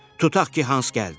Tutaq ki, Hans gəldi.